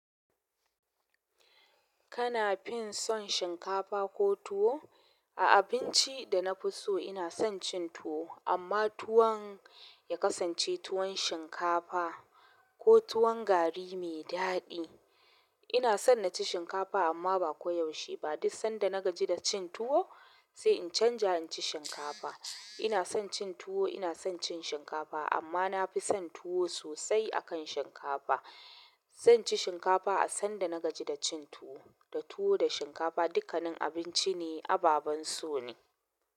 Kana fin son shinkafa ko tuwo? A abinci da na fi so ina son cin tuwo amma tuwan ya kasance tuwan shinkafa ko tuwan garri mai daɗi. Ina son na ci shinkafa amma ba ko yaushe ba. Duk san da na gaji da cin tuwo sai in canja in ci shinkafa ina son cin tuwo, ina son cin shinkafa amma na fi son tuwo sosai akan shinkafa. Zan ci shinkafa a sanda na gaji da cin tuwo. Da tuwo da shinkafa dukkanin abinci ne ababan so ne.